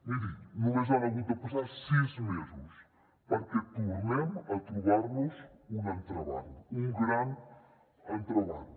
miri només han hagut de passar sis mesos perquè tornem a trobar nos un entrebanc un gran entrebanc